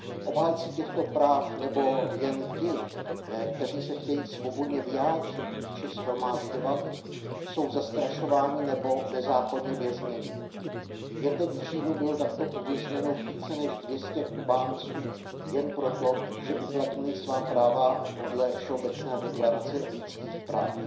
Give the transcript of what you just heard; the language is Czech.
Obhájci těchto práv nebo jen ti, kteří se chtějí svobodně vyjádřit či shromažďovat, jsou zastrašováni nebo nezákonně vězněni. Jen teď v říjnu bylo takto uvězněno více než dvě stě Kubánců jen proto, že uplatnili svá práva podle Všeobecné deklarace lidských práv.